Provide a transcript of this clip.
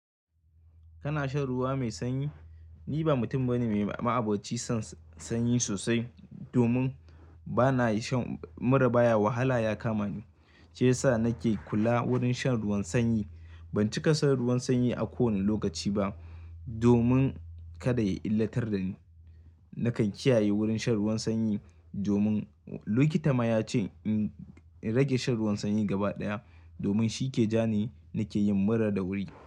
Kana shan ruwa mai sanyi? Ni ba mutum bane mai ma'abocin son, sanyi sosai, domin bana iya shan muraba ya wahala ya kama ni. Shi yasa nake kula, wurin shan ruwan sanyi. Ban cika shan ruwan sanyi a kowane lokaci ba, domin kada ya illatar da ni. Nakan kiyaye wurin shan ruwan sanyi, domin likita ma ya ce in rage shan ruwan sanyi gaba ɗaya. Domin shi ke ja ni, nake yin mura da wuri.